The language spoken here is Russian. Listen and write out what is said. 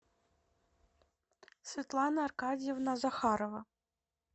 светлана аркадьевна захарова